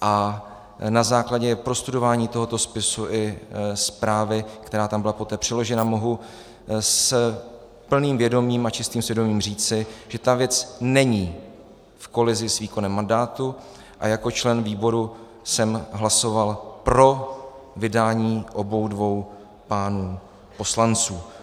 a na základě prostudování tohoto spisu i zprávy, která tam byla poté přiložena, mohu s plným vědomím a čistým svědomím říci, že ta věc není v kolizi s výkonem mandátu, a jako člen výboru jsem hlasoval pro vydání obou dvou pánů poslanců.